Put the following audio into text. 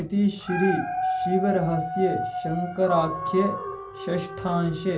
इति श्रीशिवरहस्ये शङ्कराख्ये षष्ठांशे